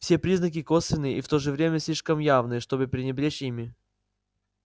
все признаки косвенные и в то же время слишком явные чтобы пренебречь ими